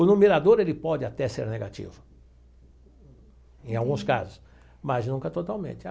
O numerador, ele pode até ser negativo, em alguns casos, mas nunca totalmente.